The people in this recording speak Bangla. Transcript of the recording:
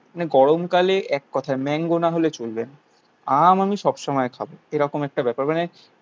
মানে গরমকালে এক কথায় ম্যাংগো না হলে চলবে না. আম আমি সবসময় খাবো এরকম একটা ব্যাপার মানে